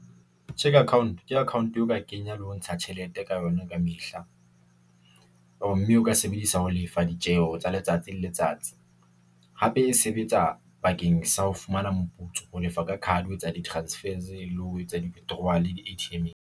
Cheque Account ke account e o ka kenya le ho ntsha tjhelete ka yona ka mehla. Or mme o ka sebedisa ho lefa ditjeho tsa letsatsi le letsatsi. Hape e sebetsa bakeng sa ho fumana moputso ho lefa ka card ho etsa di- transfer le ho etsa di withdrawal di-A_T_M-eng.